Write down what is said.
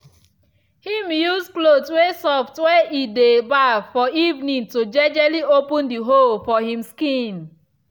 him use cloth way soft when e dey baff for evening to jejely open the hole for him skin.